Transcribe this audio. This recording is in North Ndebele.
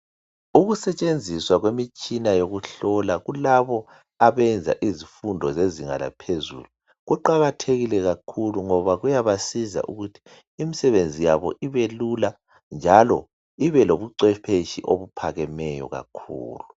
Ukusetshenziswa kwemitshina yokuhlola kulabo abenza izifundo zezinga laphezulu kuqakathekile kakhulu ngoba kuyabasiza ukuthi imisebenzi yabo ibelula njalo ibe lobucwepheshi obuphakemeyo kakhulu.